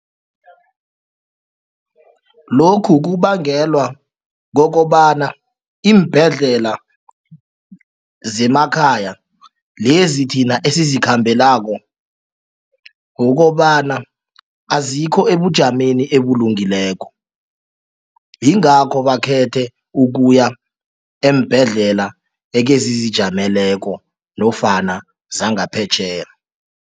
Lokhu kubangelwa kukobana iimbhedlela zemakhaya lezi thina esizikhambelako kukobana azikho ebujameni obulungekileko. Yingakho bakhethe ukuya eembhedlela ezizijameleko nofana zangaphetjheya.